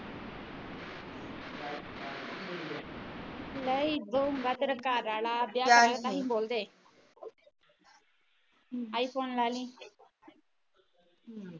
ਨਹੀਂ ਵੋ ਮੈ ਕਿਹਾ ਤੇਰਾ ਘਰਵਾਲਾ ਨਹੀਂ ਬੋਲਦੇ ਆਈਫੋਨ ਲੇਲੀ